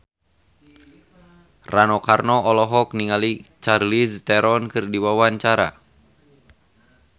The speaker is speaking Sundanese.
Rano Karno olohok ningali Charlize Theron keur diwawancara